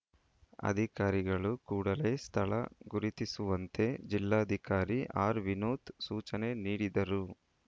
ಅಧಿಕಾರಿಗಳು ಕೂಡಲೆ ಸ್ಥಳ ಗುರುತಿಸುವಂತೆ ಜಿಲ್ಲಾಧಿಕಾರಿ ಆರ್‌ ವಿನೋತ್‌ ಸೂಚನೆ ನೀಡಿದರು